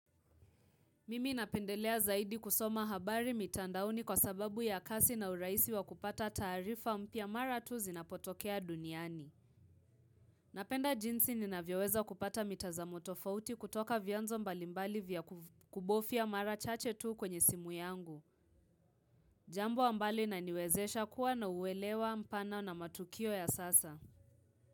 Mimi napendelea zaidi kusoma habari mitandaoni kwa sababu ya kasi na urahisi wa kupata taarifa mpya mara tu zinapotokea duniani. Napenda jinsi ninavyoweza kupata mitazamo tofauti kutoka vyanzo mbalimbali vya kubofia mara chache tu kwenye simu yangu. Jambo ambalo inaniwezesha kuwa na uelewa mpana na matukio ya sasa.